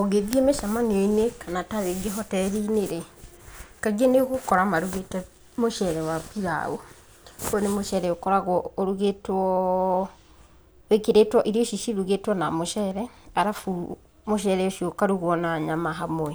Ũngĩthiĩ mĩcamanio-inĩ kana ta rĩngĩ hotel rĩ, kaingĩ nĩ ũgukora marugĩte mũcere wa pilau. Ũyũ nĩ mũcere ũkoragwo ũrugĩtwo, wĩkĩrĩtwo, irio ici cirugĩtwo na mũcere, alafu mũcere ũcio ũkarugwo na nyama hamwe